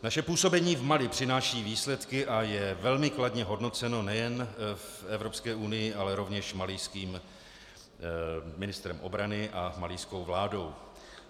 Naše působení v Mali přináší výsledky a je velmi kladně hodnoceno nejen v Evropské unii, ale rovněž malijským ministrem obrany a malijskou vládou.